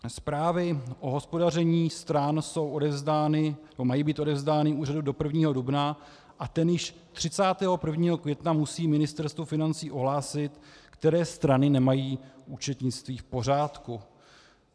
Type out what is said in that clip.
Zprávy o hospodaření stran mají být odevzdány úřadu do 1. dubna a ten již 31. května musí Ministerstvu financí ohlásit, které strany nemají účetnictví v pořádku.